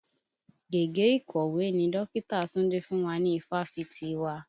Gègé ìkọ̀wé ni dọkita Túndé fún wa ni ifáfitì wa.